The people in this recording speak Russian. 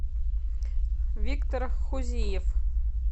виктор хузиев